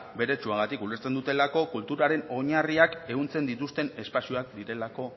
beretsuagatik ulertzen dutelako kulturaren oinarriak ehuntzen dituzten espazioak direlako